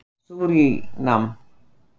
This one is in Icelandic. Súrínam